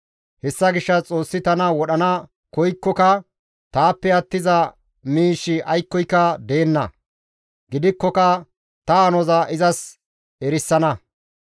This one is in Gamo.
Hessa gishshas Xoossi tana wodhana koykkoka taappe attiza miishshi aykkoyka deenna; gidikkoka ta hanoza izas erisana.